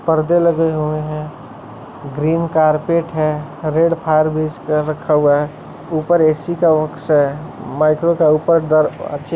पर्दे लगे हुए है। Green carpet red fire base रखा हुआ है ऊपर ए_सी का बॉक्स है। माइक्रो का ऊपर दरवाज़े --